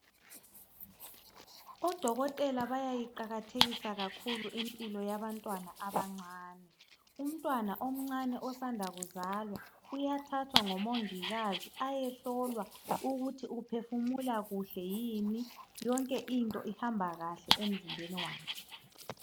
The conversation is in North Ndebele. Odokotela bayayiqakathekisa kakhulu impilo yabantwana abancane. Umntwana omcane osanda kuzalwa uyathathwa ngomongikazi ayehlola ukuthi uphefumula kuhle yini, yonke into ihamba kahle emzimbeni wakhe.